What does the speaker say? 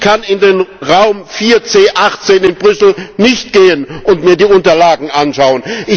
Ich kann in den Raum 4C18 in Brüssel nicht gehen und mir die Unterlagen anschauen.